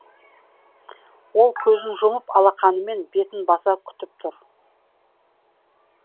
ол көзін жұмып алақанымен бетін баса күтіп тұр